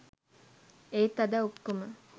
ඒත් අද ඔක්කොම